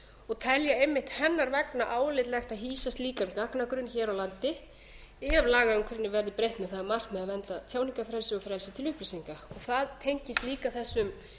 og telja einmitt hennar vegna álitlegt að hýsa slíkan gagnagrunn hér á landi ef lagaumhverfinu verður breytt með það að markmiði að venda tjáningarfrelsi og frelsi til upplýsinga það tengist líka þessum